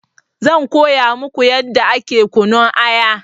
Zan koya muku yadda ake kunun aya